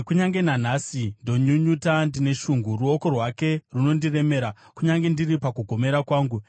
“Kunyange nanhasi ndinonyunyuta ndine shungu; ruoko rwake runondiremera kunyange ndiri pakugomera kwangu.